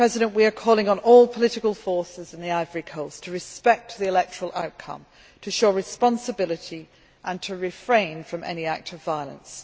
We are calling on all political forces in Côte d'Ivoire to respect the electoral outcome, to show responsibility and to refrain from any act of violence.